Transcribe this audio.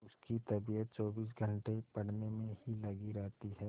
उसकी तबीयत चौबीस घंटे पढ़ने में ही लगी रहती है